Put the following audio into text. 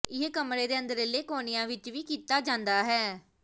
ਇਹ ਕਮਰੇ ਦੇ ਅੰਦਰਲੇ ਕੋਨਿਆਂ ਵਿਚ ਵੀ ਕੀਤਾ ਜਾਂਦਾ ਹੈ